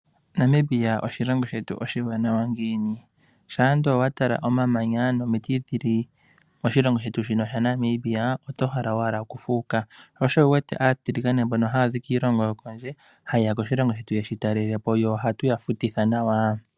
Namibia oshilongo shetu oshiwanawa ngiini? Shampa ndele owa tala omamanya nomiti dhili moshilongo shetu shino shaNamibia oto hala owala okufuuka. Sho osho wu wete aatiligane mbono haya zi kiilongo yokondje ha ye ya koshilongo shetu ye tu talelepo, tse ohatu ya futitha nawa.